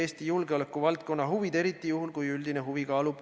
Ühte suuremasse tuuleparki tehtav investeering algab, ma ei tea, 200–300 miljonist kindlasti.